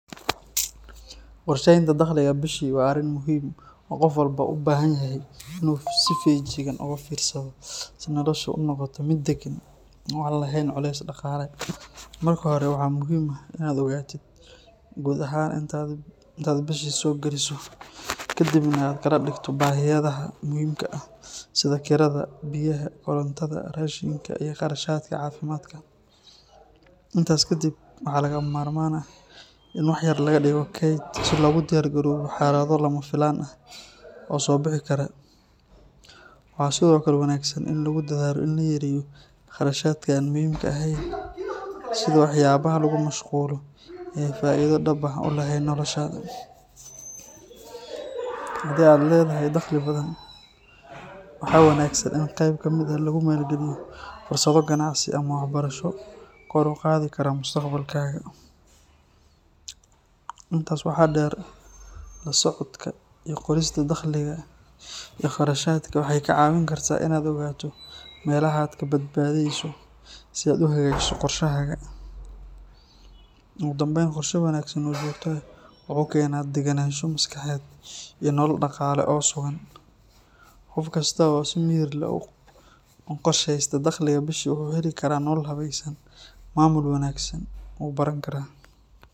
Qorsheynta dakhliga bishii waa arrin muhiim ah oo qof walba u baahan yahay inuu si feejigan uga fiirsado si noloshiisu u noqoto mid deggan oo aan lahayn culeys dhaqaale. Marka hore, waxaa muhiim ah in aad ogaatid guud ahaan inta aad bishii soo geliso, kaddibna aad kala dhigto baahiyaha muhiimka ah sida kirada, biyaha, korontada, raashinka, iyo kharashaadka caafimaadka. Intaas ka dib, waxaa lagama maarmaan ah in wax yar laga dhigo kayd si loogu diyaargaroobo xaalado lama filaana ah oo soo bixi kara. Waxaa sidoo kale wanaagsan in lagu dadaalo in la yareeyo kharashaadka aan muhiimka ahayn, sida waxyaabaha lagu mashquulo ee aan faa’iido dhab ah u lahayn noloshaada. Haddii aad leedahay dakhli badan, waxaa wanaagsan in qayb ka mid ah lagu maalgeliyo fursado ganacsi ama waxbarasho kor u qaadi kara mustaqbalkaaga. Intaas waxaa dheer, la socodka iyo qorista dakhliga iyo kharashaadka waxay kaa caawin kartaa inaad ogaato meelaha aad ka badbadanayso si aad u hagaajiso qorshahaaga. Ugu dambayn, qorshe wanaagsan oo joogto ah wuxuu keenaa degganaansho maskaxeed iyo nolol dhaqaale oo sugan. Qof kasta oo si miyir leh u qorsheysta dakhliga bishii wuxuu heli karaa nolol habaysan, maamul wanaagsanna wuu baran karaa.